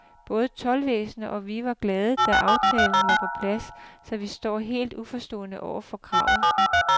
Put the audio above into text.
Både toldvæsenet og vi var glade, da aftalen var på plads, så vi står helt uforstående over for kravet.